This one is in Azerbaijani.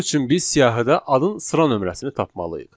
Bunun üçün biz siyahıda adın sıra nömrəsini tapmalıyıq.